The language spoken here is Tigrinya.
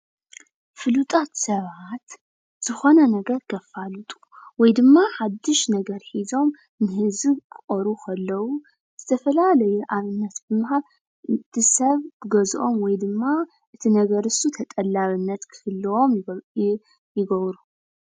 ፉሉጣት ሰባት ዝኾነ ነገር ከፋልጡ ወይ ድማ ሓዱሽ ነገር ሒዞም ንህዝቢ ክቐርቡ ከለው ዝተፈላለዩ ኣብነት ብምሃብ ትሰብ ክገዝኦም ወይ ድማ እቲ ነገር እሱ ተጠላብነት ክህልዎ ይገብሩ፡፡